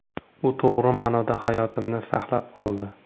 U to‘g‘ri ma’noda hayotimni saqlab qoldi.